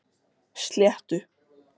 Sléttu